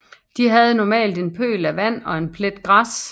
De havde normalt en pøl af vand og en plet græs